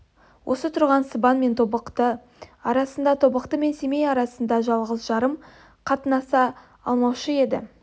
осы тұрған сыбан мен тобықты арасында тобықты мен семей арасында жалғыз-жарым қатнаса алмаушы еді